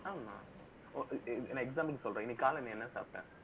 ஆமாநான் ஒரு example க்கு சொல்றேன். இன்னைக்கு காலையில நீ என்ன சாப்பிட்ட